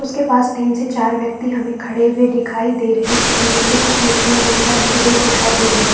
उसके पास तीन से चार व्यक्ति हमें खड़े हुए दिखाई दे रहै है और नीचे कुछ मिट्टियाँ दिखाई रेत दिखाई दे रही है।